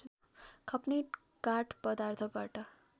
खप्ने काठ पदार्थबाट